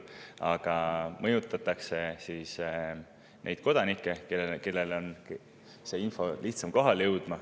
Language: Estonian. Aga mõjutatakse neid, kellele see info lihtsamini kohale jõuab.